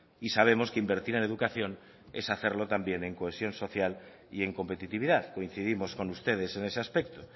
y sabemos que invertir en educación es hacerlo también en cohesión social y en competitividad coincidimos con ustedes en ese aspecto